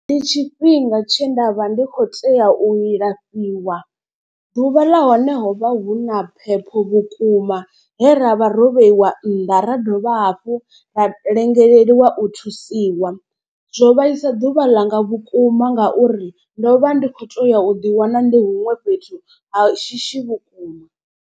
Ndi tshifhinga tshe nda vha ndi khou tea u ilafhiwa ḓuvha ḽa hone ho vha hu na phepho vhukuma he ravha ro vheiwa nnḓa ra dovha hafhu ha lengelelwa u thusiwa. Zwo vhaisa ḓuvha ḽanga vhukuma ngauri ndo vha ndi kho teya u ḓi wana ndi huṅwe fhethu ha shishi vhukuma.